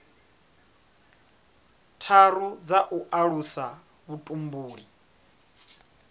tharu dza u alusa vhutumbuli